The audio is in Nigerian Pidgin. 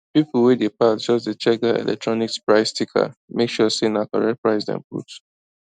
people wey dey pass just dey check that electronics price sticker make sure say na correct price dem put